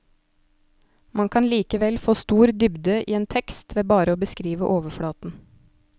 Man kan likevel få stor dybde i en tekst ved bare å beskrive overflaten.